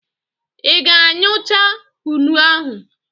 Ị ga a ñyu cha kụnụ ahụ?